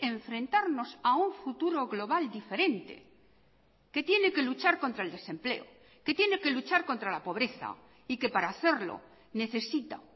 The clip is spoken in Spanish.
enfrentarnos a un futuro global diferente que tiene que luchar contra el desempleo que tiene que luchar contra la pobreza y que para hacerlo necesita